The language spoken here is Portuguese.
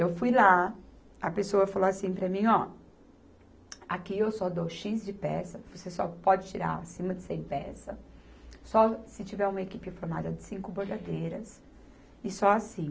Eu fui lá, a pessoa falou assim para mim, ó, aqui eu só dou xis de peça, você só pode tirar acima de cem peças, só se tiver uma equipe formada de cinco bordadeiras e só assim.